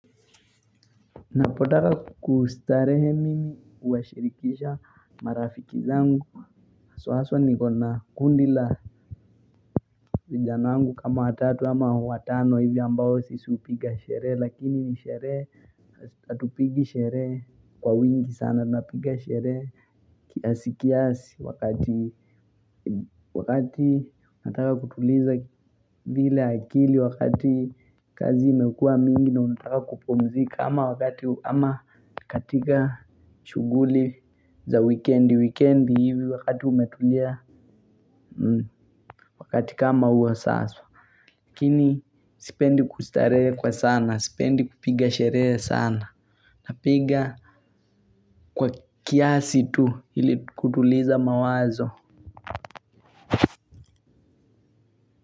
Napotaka kustarehe mimi huwashirikisha marafiki zangu haswa niko na kundi la vijana wangu kama watatu ama watano hivi ambayo sisi hupiga sherehe lakini ni shere hatupigi sheree kwa wingi sana napiga sheree. Kiasi kiasi wakati wakati nataka kutuliza lile akili wakati kazi imekua mingi na unataka kupumzika ama wakati ama katika shughuli za wikendi wikendi hivi wakati umetulia wakati kama uwa sawa lakini sipendi kustaree kwa sana sipendi kupiga sheree sana. Napiga kwa kiasi tu ili kutuliza mawazo.